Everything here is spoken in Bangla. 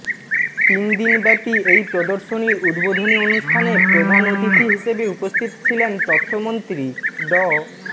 তিন দিনব্যাপী এই প্রদর্শনীর উদ্বোধনী অনুষ্ঠানে প্রধান অতিথি হিসেবে উপস্থতি ছিলেন তথ্যমন্ত্রী ড